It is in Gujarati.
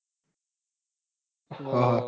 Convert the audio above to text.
હ હ